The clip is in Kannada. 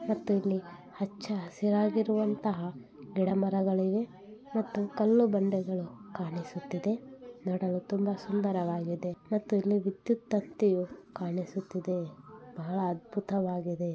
ಮತ್ತು ಇಲ್ಲಿ ಹಚ್ಚ ಹಸಿರಾಗಿರುವಂತಹ ಗಿಡ ಮರಗಳಿವೆ ಮತ್ತು ಕಲ್ಲು ಬಂಡೆಗಳು ಕಾಣಿಸುತ್ತಿದೆ. ನೋಡಲು ತುಂಬ ಸುಂದರವಾಗಿದೆ ಮತ್ತು ಇಲ್ಲಿ ವಿದ್ಯುತ್ ತಂತಿಯು ಕಾಣಿಸುತ್ತಿದೆ. ಬಹಳ ಅದ್ಭುತವಾಗಿದೆ.